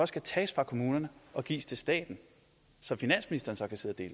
skal tage fra kommunerne og gives til staten så finansministeren så kan sidde